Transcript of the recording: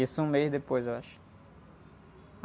Isso um mês depois, eu acho.